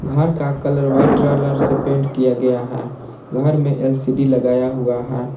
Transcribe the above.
घर का colour white colour से पेंट किया गया है घर में एल_सी_डी लगाया हुआ है।